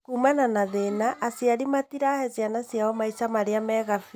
Kumana na thĩna, aciari matirahe ciana ciao maica marĩa mega biu